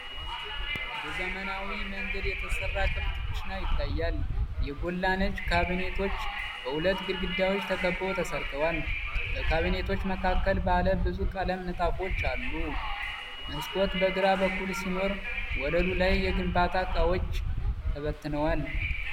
በዘመናዊ መንገድ የተሰራ ክፍት ኩሽና ይታያል፤ የጎላ ነጭ ካቢኔቶች በሁለት ግድግዳዎች ተከበው ተሰርተዋል። በካቢኔቶች መካከል ባለ ብዙ ቀለም ንጣፎች አሉ፤ መስኮት በግራ በኩል ሲኖር ወለሉ ላይ የግንባታ እቃዎች ተበትነዋል።